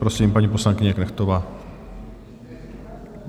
Prosím, paní poslankyně Knechtová.